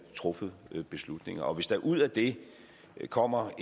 truffet beslutninger hvis der ud af det kommer